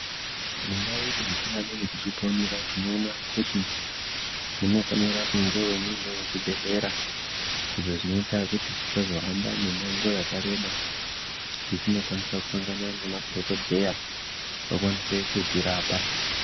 Mundau dzatingadai tichiponera tinoona kuti munofanira kungewo mune zvibhedhlera izvo zvinoita kuti tisahamba kwenguva yakareba kuti tinokwanisa kusangana nemadhokodheya vakwanise kutirapa.